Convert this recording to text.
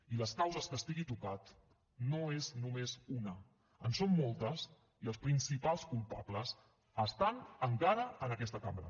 i les causes que estigui tocat no és només una en són moltes i els principals culpables estan encara en aquesta cambra